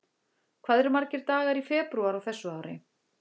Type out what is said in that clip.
Hvað eru margir dagar í febrúar á þessu ári?